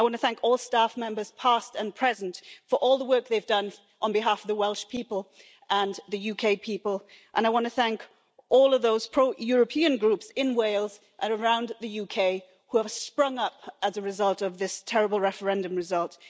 I want to thank all staff members, past and present for all the work they've done on behalf of the Welsh people and the UK people and I want to thank all of those pro European groups in Wales and around the UK who have sprung up as a result of this terrible referendum result.